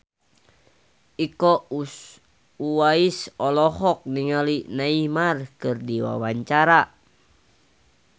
Iko Uwais olohok ningali Neymar keur diwawancara